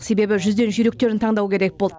себебі жүзден жүйріктерін таңдау керек болды